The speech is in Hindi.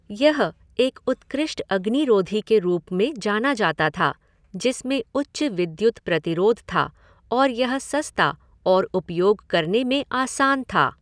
यह एक उत्कृष्ट अग्निरोधी के रूप में जाना जाता था जिसमें उच्च विद्युत प्रतिरोध था और यह सस्ता और उपयोग करने में आसान था।